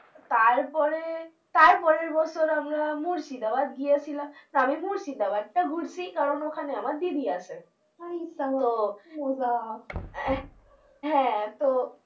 তারপরে তারপরের বছর আমরা মুর্শিদাবাদ গিয়েছিলাম, আমি মুর্শিদাবাদ তা ঘুরছি কারণ ওখানে আমার দিদি আছে আরি সাবাস কি মজা আহ হ্যাঁ তো